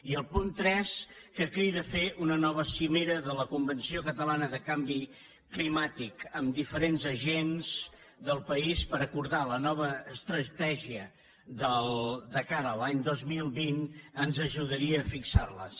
i el punt tres que crida a fer una nova cimera de la convenció catalana de canvi climàtic amb diferents agents del país per acordar la nova estratègia de cara a l’any dos mil vint ens ajudaria a fixar les